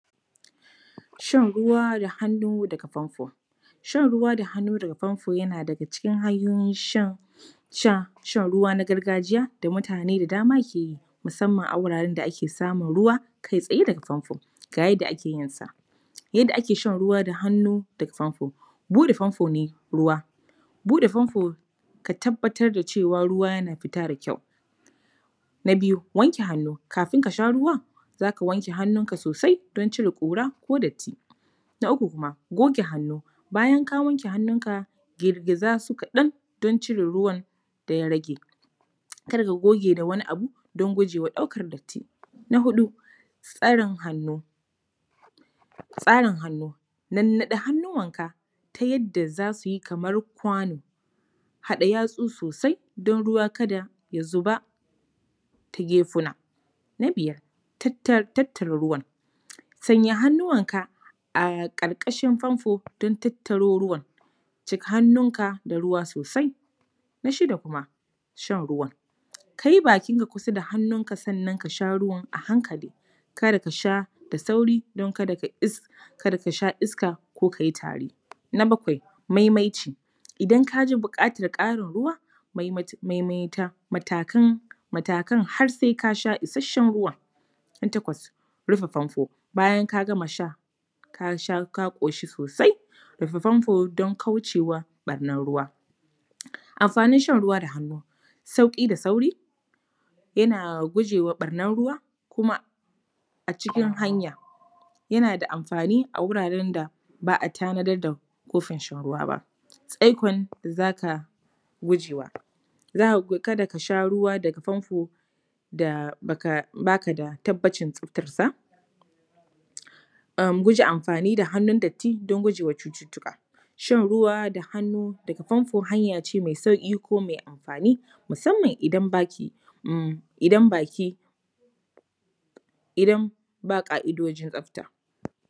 Shan ruwa da hannu da ƙafafuwa. Shan ruwa da hannu daga famfo yana daga cikin hanyoyin shan, sha, shan ruwa na gargajiya da mutane da dama ke yi, musamman a wuraren da ake samun ruwa kai tsaye daga famfo. Ga yadda ake yinsa: yadda ake shan ruwa da hannu daga famfo. Buɗe famfo ne ruwa:- buɗe famfo ka tabbatar da cewa ruwa yana fita da kyau. Na biyu wanke hannu:- kafin ka sha ruwan, za ka wanke hannunka sosai don cire ƙura ko datti. Na uku kuma goge hannu:- bayan ka wanke hannunka, girgiza su kaɗan don cire ruwan da ya rage, kar ka goge da wani abu, don guje wa ɗaukar datti. Na huɗu tsarin hannu:- tsarin hannu, nannaɗe hannuwanka ta yadda za su yi kamar kwano, haɗa yatsu sosai don ruwa kada ya zuba ta gefuna. Na biyar tattara ruwan:- sanya hannuwanka a ƙarƙashin famfo don tattaro ruwan, cika hannunka da ruwa sosai. Na shida kuma, shan ruwan:- kai bakinka kusa da hannunka sannan ka sha ruwan a hankali, kada ka sha da sauri, don kada ka sha iska ko ka yi tari. Na bakwai, maimaici:- in ka ji buƙatar ƙarin ruwa, maimaita matakan har sai ka sha isasshen ruwan. Na takwas, rufe famfo:- bayan ka gama sha, ka sha, ka ƙoshi sosai, rufe famfo don kauce wa ɓarnar ruwa. Amfanin shan ruwa da hannu: sauƙi da sauri, yana guje wa ɓarnar ruwa kuma a cikin hanya,, yana da amfani a wurin da ba a tanadar da kofin shan ruwa ba. Tsaikon da za ka guje wa: kada ka sha ruwa daga famfo da ba ka da tabbacin tsaftarsa, guje amfani da hannun datti don guje wa cututtuka. Shan ruwa da hannu daga famfo hanya ce mai sauƙi ko mai amfani musamman idan ba ƙa’idojin tsafta.